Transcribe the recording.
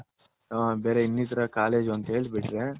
ಹ ಬೇರೆ ಇನ್ ಈ ತರ ಕಾಲೇಜ್ ಅಂತ ಹೇಳ್ಬಿಟ್ರೆ